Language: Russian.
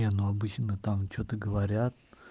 не но обычно там что-то говорят